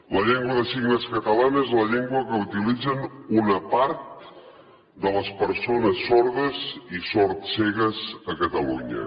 la llengua de signes catalana és la llengua que utilitzen una part de les persones sordes i sordcegues a catalunya